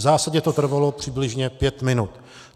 V zásadě to trvalo přibližně pět minut.